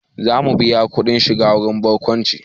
Za mu biya kuɗin shiga wurin barkwanci